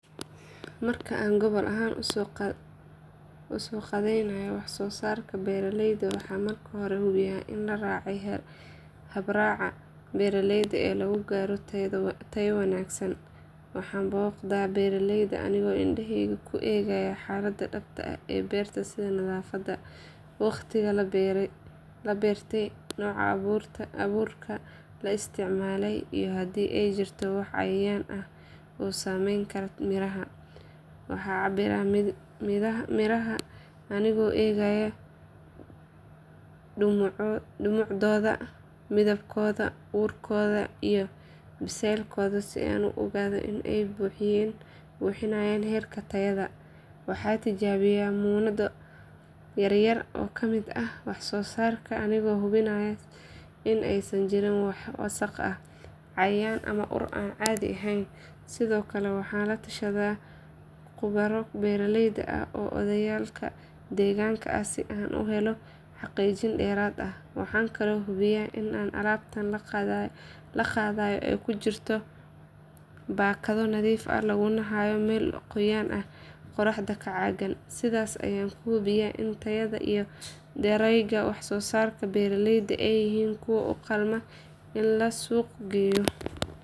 Marka aan gobol ahaan u soo qaadayno wax soo saarka beeralayda waxaan marka hore hubiyaa in la raacay habraaca beeralayda ee lagu gaaro tayo wanaagsan. Waxaan booqdaa beeraleyda anigoo indhahayga ku eegaya xaaladda dhabta ah ee beerta sida nadaafadda, waqtiga la beertay, nooca abuurka la isticmaalay iyo haddii ay jirto wax cayayaan ah oo saameyn kara miraha. Waxaan cabbiraa midhaha anigoo eegaya dhumucdooda, midabkooda, urkooda iyo biseylkooda si aan u ogaado in ay buuxinayaan heerka tayada. Waxaan tijaabiyaa muunado yar yar oo ka mid ah wax soo saarka anigoo hubinaya in aysan jirin wax wasakh ah, cayayaan ama ur aan caadi ahayn. Sidoo kale waxaan la tashadaa khubaro beeraley ah ama odayaal deegaanka ah si aan u helo xaqiijin dheeraad ah. Waxaan kaloo hubiyaa in alaabta la qaadayo ay ku jirto baakado nadiif ah laguna hayo meel qoyaan iyo qorrax ka caagan. Sidaas ayaan ku hubiyaa in tayada iyo darayga wax soo saarka beeralayda ay yihiin kuwo u qalma in la suuq geeyo.